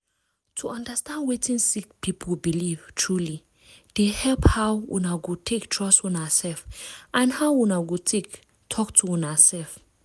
to understand wetin sick people belief truely dey help how una go take trust una self and how una go take talk to una self.